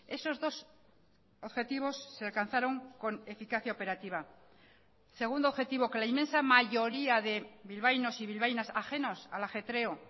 esos dos objetivos se alcanzaron con eficacia operativa segundo objetivo que la inmensa mayoría de bilbaínos y bilbaínas ajenos al ajetreo